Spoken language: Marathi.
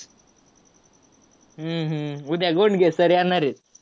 हम्म हम्म उद्या गोडगे sir येणार आहेत.